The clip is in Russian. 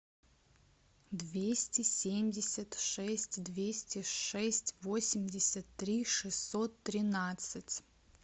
двести семьдесят шесть двести шесть восемьдесят три шестьсот тринадцать